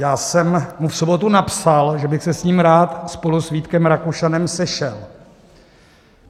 Já jsem mu v sobotu napsal, že bych se s ním rád spolu s Vítkem Rakušanem sešel.